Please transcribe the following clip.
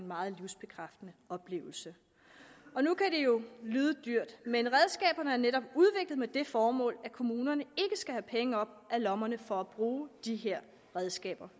meget livsbekræftende oplevelse nu kan det jo lyde dyrt men redskaberne er netop udviklet med det formål at kommunerne skal have penge op af lommerne for at bruge de her redskaber